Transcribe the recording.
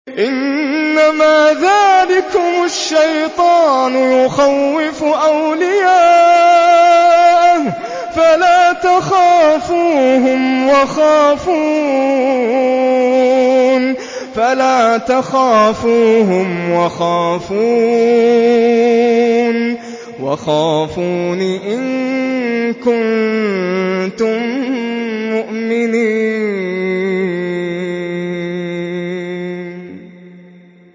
إِنَّمَا ذَٰلِكُمُ الشَّيْطَانُ يُخَوِّفُ أَوْلِيَاءَهُ فَلَا تَخَافُوهُمْ وَخَافُونِ إِن كُنتُم مُّؤْمِنِينَ